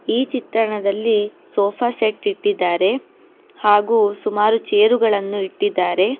ಈ ಚಿತ್ತನದಲ್ಲಿ sofa set ಇಟ್ಟಿದ್ದಾರೆ ಹಾಗು ಸುಮಾರು ಚೇರು ಗಳನ್ನು ಇಟ್ಟಿದ್ದಾರೆ.